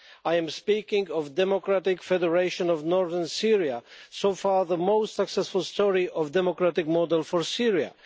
I am speaking of the Democratic Federation of Northern Syria, so far the most successful story of a democratic model for Syria.